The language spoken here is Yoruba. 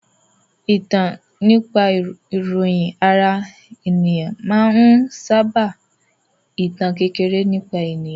Ìtàn nípa ìròyìn ara ẹni máa ń sábà ìtàn kékeré nípa ènìyàn